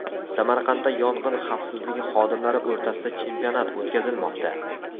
Samarqandda yong‘in xavfsizligi xodimlari o‘rtasida chempionat o‘tkazilmoqda .